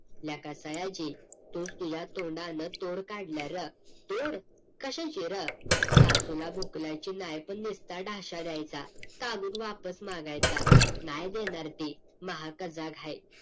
लका सयाजी तूच तुझ्या तोंडानं तोर काढला र, तोड? कशाची र? सासूला बुकलायची नाय पण निस्ता ढाशा द्यायचा कागद वापस मागायचं नाय देणार ती महाकजाग हाय